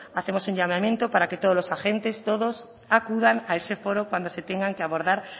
hacemos un llamamiento para que todos los agentes todos acudan a ese foro cuando se tengan que abordar